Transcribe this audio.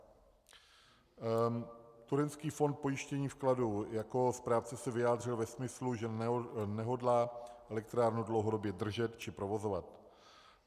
Turecký fond pojištění vkladu jako správce se vyjádřil ve smyslu, že nehodlá elektrárnu dlouhodobě držet či provozovat.